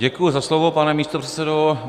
Děkuji za slovo, pane místopředsedo.